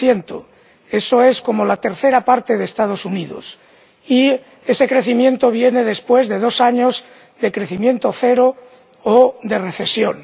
1 Eso es como la tercera parte de Estados Unidos, y ese crecimiento viene después de dos años de crecimiento cero o de recesión.